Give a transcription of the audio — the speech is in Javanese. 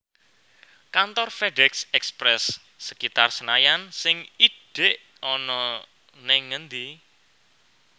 Kantor FedEx Express sekitar Senayan sing idhek ana ning endi